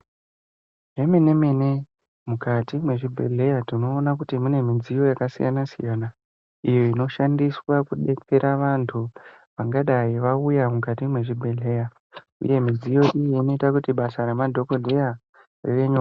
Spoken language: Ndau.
Zvemene mene mukati mezvibhedhlera tinoona kuti mune midziyo yakasiyana siyana iyo inoshandiswa kudetsera vantu vangadai vauya mukati mezvibhedhlera uye midziyo iyi inoita kuti basa remadhokodheya rivenyore.